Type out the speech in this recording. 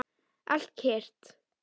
Allt kyrrt.